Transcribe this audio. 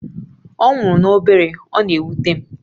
Ọ nwụrụ n'obere, ọ na-ewute m